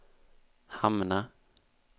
hamna